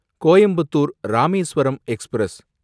Coimbatore Rameswaram express